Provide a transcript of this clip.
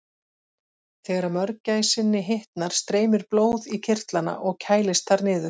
Þegar mörgæsinni hitnar streymir blóð í kirtlana og kælist þar niður.